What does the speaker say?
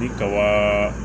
Ni kaba